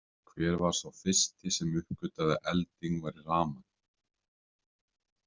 Hver var sá fyrsti sem uppgötvaði að elding væri rafmagn?